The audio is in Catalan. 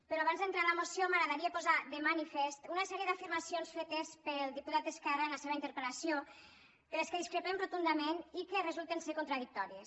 però abans d’entrar en la moció m’agradaria posar de manifest una sèrie d’afirmacions fetes pel diputat d’esquerra en la seva interpel·lació de què discrepem rotundament i que resulten ser contradictòries